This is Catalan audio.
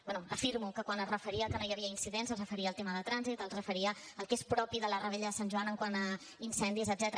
bé afirmo que quan es referia que no hi havia incidents es referia al tema de trànsit es referia al que és propi de la revetlla de sant joan quant a incendis etcètera